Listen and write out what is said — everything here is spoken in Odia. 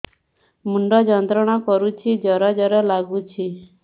ମୁଣ୍ଡ ଯନ୍ତ୍ରଣା କରୁଛି ଜର ଜର ଲାଗୁଛି